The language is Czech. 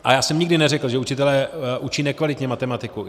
A já jsem nikdy neřekl, že učitelé učí nekvalitně matematiku.